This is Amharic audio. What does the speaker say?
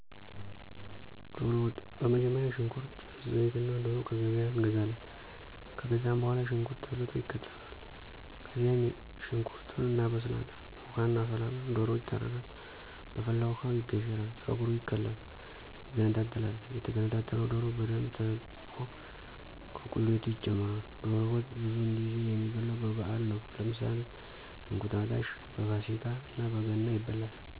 ዶሮ ወጥ። በመጀመሪያ ሽንኩርት፣ ዘይትእናዶሮ ከገበያ እንገዛለን። ከገዛንበኋላ ሽንኩርት ተልጦ ይከተፍል፣ ከዚያም የሽንኩርቱንእናበስላለን። ውሀ እናፈላለን፣ ዶሮ ይታረዳል፣ በፈላው ውሀ ይገሸራል፣ ጸጉሩ ይከላል፣ ይገነጣጠላል። የተገነጠለው ዶሮ በደንብ ታጥቦከቁሌቱ ይጨመራል። ዶሮ ወጥ ብዙውን ጊዜ የሚበላው በበአል ነው ለምሳሌ እንቁጣጣሽ፣ በፋሲካ እና በገና ይበላል።